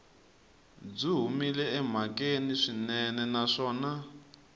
byi humile emhakeni swinene naswona